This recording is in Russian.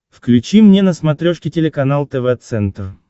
включи мне на смотрешке телеканал тв центр